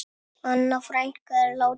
Anna frænka er látin.